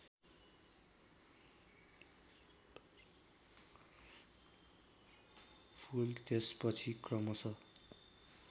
फुल त्यसपछि क्रमश